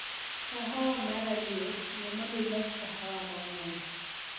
Kahawa mara liet yie mondo ilos kahawa mang'eny